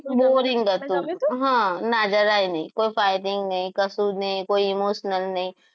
Bouring હતું હા હા ના જરાય નહીં કોઈ fighting નહીં કશું જ નહીં કોઈ emotional નહિ